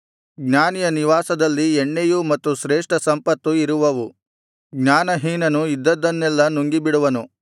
ಜ್ಞಾನಿಯ ನಿವಾಸದಲ್ಲಿ ಎಣ್ಣೆಯು ಮತ್ತು ಶ್ರೇಷ್ಠ ಸಂಪತ್ತು ಇರುವವು ಜ್ಞಾನಹೀನನು ಇದ್ದದ್ದನ್ನೆಲ್ಲಾ ನುಂಗಿಬಿಡುವನು